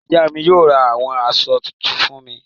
Ìyá mi yóò ra àwọn aṣọ tuntun fún mi.